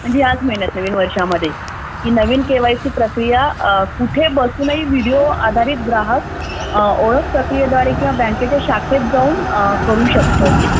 म्हणजे याच महिन्यात नवीन वर्षामध्ये नवीन केवायसी प्रक्रिया व्हिडिओ आधारित ग्राहक ओळख प्रक्रियेद्वारे किंवा बँकेत जाऊन करू शकतो